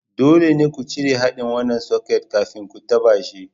Dole ne ku cire haɗin wannan soket kafin ku taɓa shi.